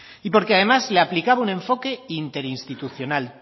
y porque además le aplicaba un enfoque interinstitucional